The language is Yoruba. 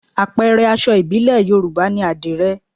Àpẹẹrẹ aṣọ ìbílẹ̀ Yorùbá ni àdìrẹ